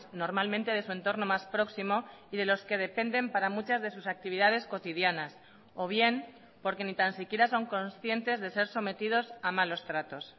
normalmente de su entorno más próximo y de los que dependen para muchas de sus actividades cotidianas o bien porque ni tan siquiera son conscientes de ser sometidos a malos tratos